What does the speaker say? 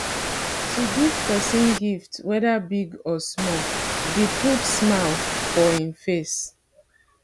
to give persin gift whether big or small de put smile for in face